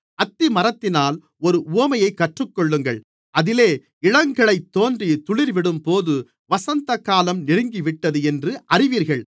அத்திமரத்தினால் ஒரு உவமையைக் கற்றுக்கொள்ளுங்கள் அதிலே இளங்கிளைத்தோன்றி துளிர்விடும்போது வசந்தகாலம் நெருங்கிவிட்டது என்று அறிவீர்கள்